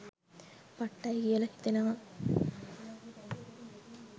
පට්ටයි කියලා හිතෙනවා